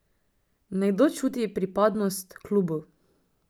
Nekdo čuti pripadnost klubu.